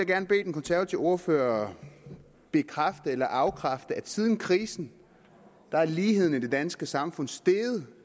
gerne bede den konservative ordfører bekræfte eller afkræfte at siden krisen er ligheden i det danske samfund steget